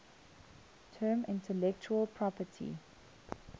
term intellectual property